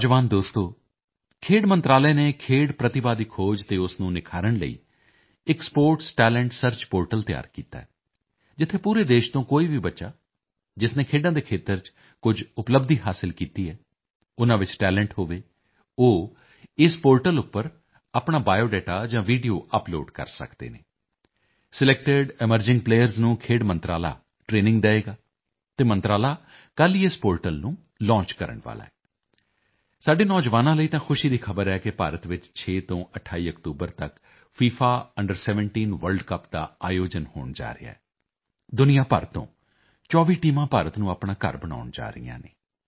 ਨੌਜਵਾਨ ਦੋਸਤੋ ਖੇਡ ਮੰਤਰਾਲੇ ਨੇ ਖੇਡ ਪ੍ਰਤਿਭਾ ਦੀ ਖੋਜ ਅਤੇ ਉਸ ਨੂੰ ਨਿਖਾਰਨ ਲਈ ਇੱਕ ਸਪੋਰਟਸ ਟੈਲੈਂਟ ਸਰਚ ਪੋਰਟਲ ਤਿਆਰ ਕੀਤਾ ਹੈ ਜਿੱਥੇ ਪੂਰੇ ਦੇਸ਼ ਤੋਂ ਕੋਈ ਵੀ ਬੱਚਾ ਜਿਸ ਨੇ ਖੇਡਾਂ ਦੇ ਖੇਤਰ ਚ ਕੁਝ ਉਪਲੱਬਧੀ ਹਾਸਲ ਕੀਤੀ ਹੈ ਉਨਾਂ ਵਿੱਚ ਟੈਲੈਂਟ ਹੋਵੇ ਉਹ ਇਸ ਪੋਰਟਲ ਉੱਪਰ ਆਪਣਾ ਬਾਇਓਡਾਟਾ ਜਾਂ ਵੀਡੀਓ ਅਪਲੋਡ ਕਰ ਸਕਦੇ ਹਨ ਸਿਲੈਕਟਿਡ ਐਮਰਜਿੰਗ ਪਲੇਅਰਜ਼ ਨੂੰ ਖੇਡ ਮੰਤਰਾਲਾ ਟਰੇਨਿੰਗ ਦੇਵੇਗਾ ਅਤੇ ਮੰਤਰਾਲਾ ਕੱਲ ਹੀ ਇਸ ਪੋਰਟਲ ਨੂੰ ਲੌਂਚ ਕਰਨ ਵਾਲਾ ਹੈ ਸਾਡੇ ਨੌਜਵਾਨਾਂ ਲਈ ਤਾਂ ਖੁਸ਼ੀ ਦੀ ਖ਼ਬਰ ਹੈ ਕਿ ਭਾਰਤ ਵਿੱਚ 6 ਤੋਂ 28 ਅਕਤੂਬਰ ਤੱਕ ਫਿਫਾ ਅੰਡਰ 17 ਵਰਲਡ ਕੱਪ ਦਾ ਆਯੋਜਨ ਹੋਣ ਜਾ ਰਿਹਾ ਹੈ ਦੁਨੀਆ ਭਰ ਤੋਂ 24 ਟੀਮਾਂ ਭਾਰਤ ਨੂੰ ਆਪਣਾ ਘਰ ਬਣਾਉਣ ਜਾ ਰਹੀਆਂ ਹਨ